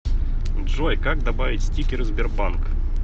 джой как добавить стикеры сбербанк